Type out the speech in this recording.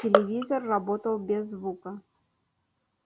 телевизор работал без звука